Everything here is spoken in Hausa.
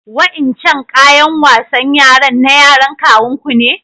Wa'incan ƙayan wasan yaran na yaran kawun ku ne?